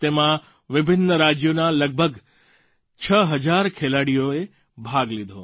તેમાં વિભિન્ન રાજ્યોના લગભગ 6 હજાર ખેલાડીઓએ ભાગ લીધો